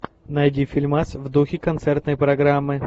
найди фильмас в духе концертной программы